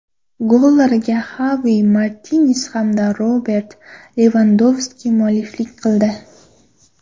Gollarga Xavi Martines hamda Robert Levandovski mualliflik qildi.